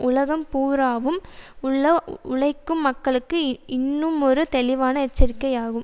உலகம் பூராவும் உள்ள உழைக்கும் மக்களுக்கு இன்னுமொரு தெளிவான எச்சரிக்கையாகும்